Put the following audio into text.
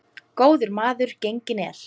Góður maður genginn er.